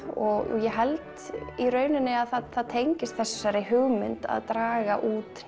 og ég held í rauninni að það tengist þessari hugmynd að draga út